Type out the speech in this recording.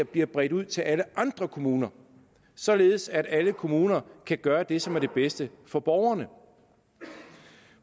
bliver bredt ud til alle andre kommuner således at alle kommuner kan gøre det som er det bedste for borgerne